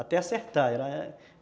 até acertar.